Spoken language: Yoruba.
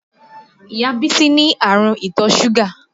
Ìyá Bísí ní àrùn ìtọ̀ súgà